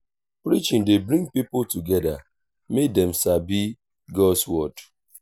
preaching dey bring pipo together mek dem sabi god’s word.